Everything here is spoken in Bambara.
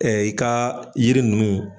Ɛɛ i ka yiri nunnu